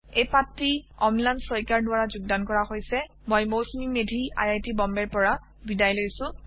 এই পাঠটি অম্লান শইকীয়াৰ দ্বাৰা যোগদান কৰা হৈছে মই Mousumi Medhi I I T বম্বেৰ পৰা বিদায় লৈছো